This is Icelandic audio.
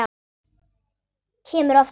Kemur oft heim.